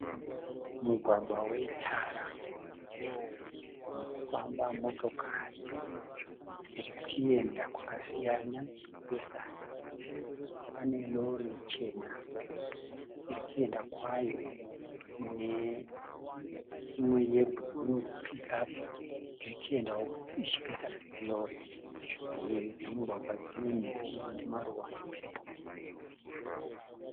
Mugwagwa wetara unofamba motokari dzirikuenda kwakasiyana dzichipesana. Pane rori chena irikuenda kwayo neimwe yebhuruu Pick up iri kuendawo ichipesana nerori. Mhiri dzemugwagwa dzine miti ine maruva epepuro.